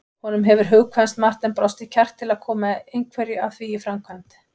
Honum hefur hugkvæmst margt en brostið kjark til að koma einhverju af því í framkvæmd.